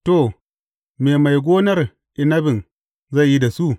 To, me mai gonar inabin zai yi da su?